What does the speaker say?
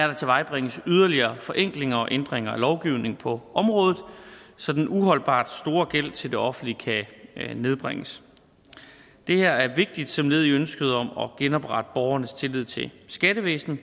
der tilvejebringes yderligere forenklinger og ændringer af lovgivningen på området så den uholdbart store gæld til det offentlige kan nedbringes det her er vigtigt som led i ønsket om at genoprette borgernes tillid til skattevæsenet